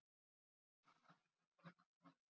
Víkingur Traustason var jarðsunginn að viðstöddu fámenni.